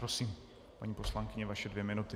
Prosím, paní poslankyně, vaše dvě minuty.